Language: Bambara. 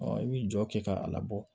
i bi jɔ kɛ k'a labɔ